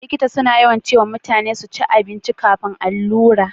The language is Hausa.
likita suna yawan cewa mutane su cin abinci kafin karbar allura